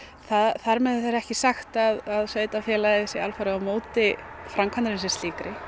þar með er ekki sagt að sveitarfélagið sé alfarið á móti framkvæmdinni sem slíkri